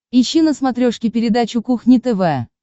ищи на смотрешке передачу кухня тв